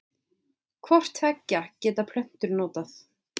Hvort tveggja geta plöntur notað.